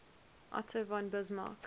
otto von bismarck